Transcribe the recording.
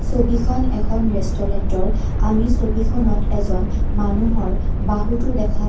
ছবিখন এখন ৰেষ্টোৰেণ্টৰ আমি ছবিখনত এজন মানুহৰ বাহুটো দেখা পা --